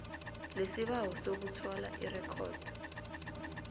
lesibawo sokuthola irekhodi